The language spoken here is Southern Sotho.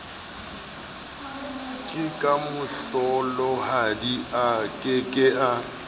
ha kemohlolohadi a ke ke